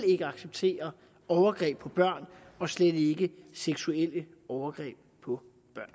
acceptere overgreb på børn og slet ikke seksuelle overgreb på